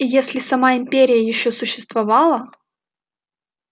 и если сама империя ещё существовала